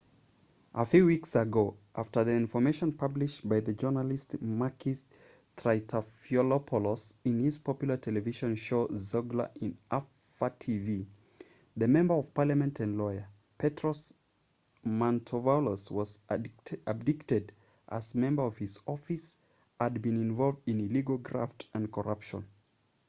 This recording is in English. a few weeks ago after the information published by the journalist makis triantafylopoulos in his popular television show zoungla in alpha tv the member of parliament and lawyer petros mantouvalos was abdicated as members of his office had been involved in illegal graft and corruption